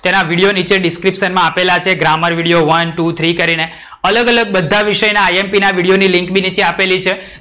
તેના વિડિયો ની છે description માં આપેલા છે. Grammar video one two three કરીને. અલગ અલગ બધા વિષય ના IMP ના વિડિયોની લિન્ક બી નીચે આપેલી છે.